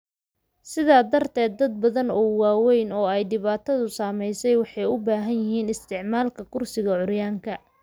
Sidaa darteed, dad badan oo waaweyn oo ay dhibaatadu saameysey waxay u baahan yihiin isticmaalka kursiga curyaanka.